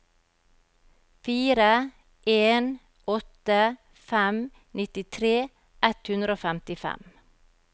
fire en åtte fem nittitre ett hundre og femtifem